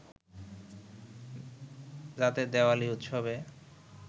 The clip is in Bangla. যাতে দেওয়ালি উৎসবে